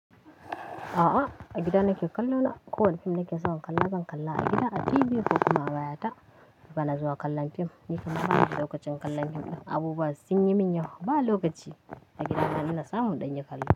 A'a, a gida nake kallo na. Ko wane fim nake so in kalla, zan kalla a gida a TV ko kuma baya ta. Bana zuwa kallon fim, ni kuma aa lokacin kallon fim ɗin abubuwa sun yi min yawa. Ba lokaci a gidana ina samun ɗanye kallo.